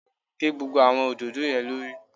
Gé gbogbo àwọn òdòdó yẹn lórí.